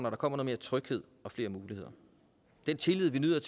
at der kommer mere tryghed og flere muligheder den tillid vi nyder